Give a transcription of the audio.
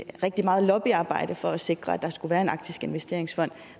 rigtig meget lobbyarbejde for at sikre at der skulle være en arktisk investeringsfond